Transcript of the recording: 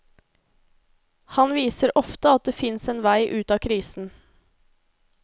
Han viser ofte at det fins en vei ut av krisen.